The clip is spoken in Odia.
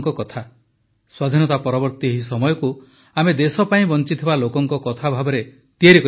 ସ୍ୱାଧୀନତା ପରବର୍ତ୍ତୀ ଏହି ସମୟକୁ ଆମେ ଦେଶ ପାଇଁ ବଞ୍ଚିଥିବା ଲୋକଙ୍କ କଥା ଭାବେ ତିଆରି କରିବାକୁ ହେବ